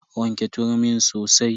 Wanke turmin sosai.